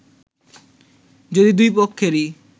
যদি দুই পক্ষেরই